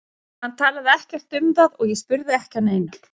Hann talaði ekkert um það og ég spurði ekki að neinu.